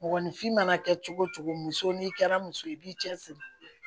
Mɔgɔninfin mana kɛ cogo cogo muso n'i kɛra muso ye i b'i cɛsiri